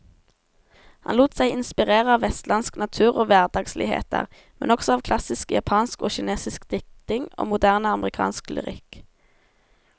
Han lot seg inspirere av vestlandsk natur og hverdagsligheter, men også av klassisk japansk og kinesisk diktning og moderne amerikansk lyrikk.